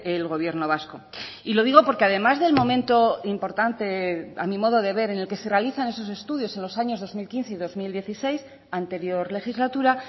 el gobierno vasco y lo digo porque además del momento importante a mi modo de ver en el que se realizan esos estudios en los años dos mil quince y dos mil dieciséis anterior legislatura